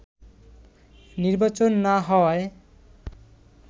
নির্বাচন না হওয়ায়